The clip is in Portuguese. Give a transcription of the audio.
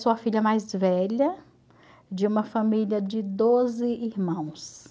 sua filha mais velha, de uma família de doze irmãos.